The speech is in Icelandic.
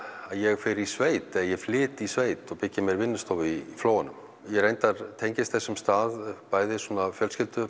ég fer í sveit eða flyt í sveit og byggi mér vinnustofu í Flóanum ég reyndar tengist þessum stað bæði fjölskylduböndum